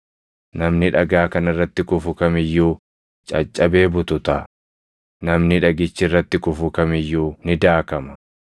Namni dhagaa kana irratti kufu kam iyyuu caccabee bututa; namni dhagichi irratti kufu kam iyyuu ni daakama.”